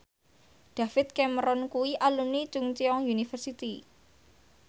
David Cameron kuwi alumni Chungceong University